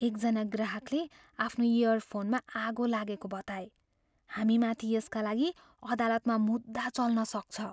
एकजना ग्राहकले आफ्नो इयरफोनमा आगो लागेको बताए। हामीमाथि यसका लागि अदालतमा मुद्दा चल्न सक्छ।